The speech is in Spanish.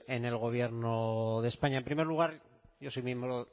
en el gobierno de españa en primer lugar yo soy miembro